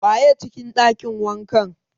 Waye a cikin ɗakin wankan?